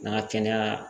N'an ka kɛnɛya